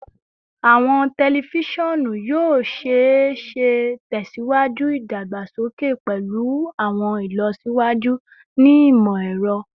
Awọn tẹlifisiọnu yoo ṣee ṣe tẹsiwaju idagbasoke pẹlu awọn ilọsiwaju ni imọ-ẹrọ